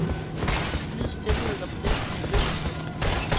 Nyd stilheden og blæsten i lyngtoppene.